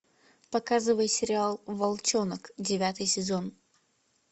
показывай сериал волчонок девятый сезон